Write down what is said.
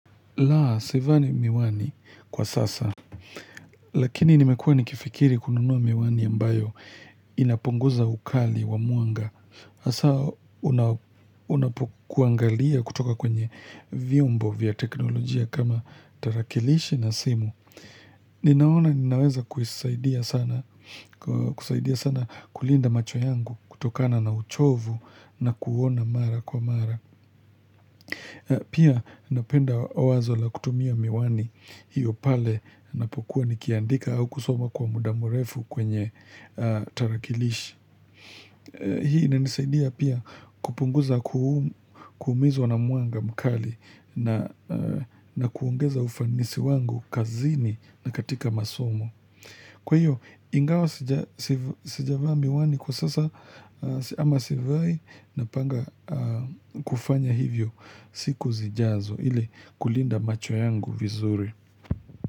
La, sivani miwani kwa sasa. Lakini nimekuwa nikifikiri kununuwa miwani ambayo inapunguza ukali wa mwanga. Hasa unapokuangalia kutoka kwenye vyombo vya teknolojia kama tarakilishi na simu. Ninaona ninaweza kusaidia sana kulinda macho yangu kutokana na uchovu na kuona mara kwa mara. Pia napenda wazo la kutumia miwani hiyo pale ninapokuwa nikiandika au kusoma kwa muda mrefu kwenye tarakilishi. Hii inanisaidia pia kupunguza kuumizwa na mwanga mkali na kuongeza ufanisi wangu kazini na katika masomo. Kwa hiyo, ingawa sijavaa miwani kwa sasa ama sivai napanga kufanya hivyo siku zijazo ili kulinda macho yangu vizuri.